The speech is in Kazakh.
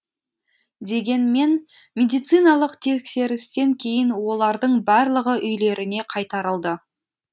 дегенмен медициналық тексерістен кейін олардың барлығы үйлеріне қайтарылды